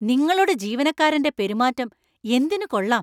നിങ്ങളുടെ ജീവനക്കാരന്‍റെ പെരുമാറ്റം എന്തിനു കൊള്ളാം.